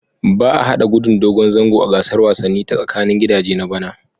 Ba a hada Gudun dogon zango a gasar wasanni ta tsakanin gidaje na bana